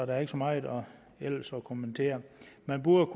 der er ikke så meget ellers at kommentere man burde